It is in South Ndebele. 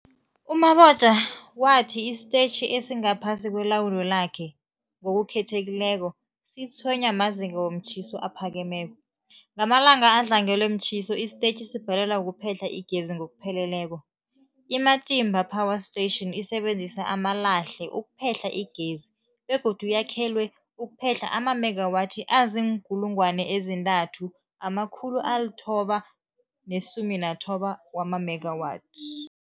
U-Mabotja wathi isitetjhi esingaphasi kwelawulo lakhe, ngokukhethekileko, sitshwenywa mazinga womtjhiso aphakemeko. Ngamalanga adlangelwe mtjhiso, isitetjhi sibhalelwa kuphehla igezi ngokupheleleko. I-Matimba Power Station isebenzisa amalahle ukuphehla igezi begodu yakhelwe ukuphehla amamegawathi azii-3990 megawatts.